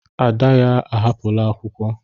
Ada ya ahapụla akwụkwọ.